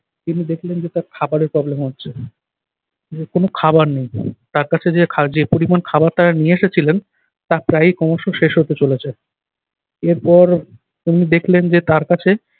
তিনি দেখলেন যে তার খাবারের problem হচ্ছে। যে কোন খাবার নেই তার কাছে যে খা~ যে পরিমাণ খাবার তারা নিয়ে এসেছিলেন তা প্রায় ক্রমশ শেষ হতে চলেছে। এরপর তিনি দেখলেন যে তার কাছ